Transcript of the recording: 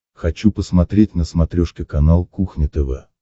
хочу посмотреть на смотрешке канал кухня тв